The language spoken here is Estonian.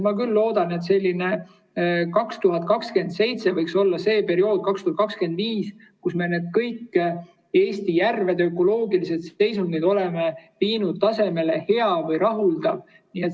Ma küll loodan, et 2027 võiks olla see aeg, 2025, kui me kõigi Eesti järvede ökoloogilise seisundi oleme viinud heale või rahuldavale tasemele.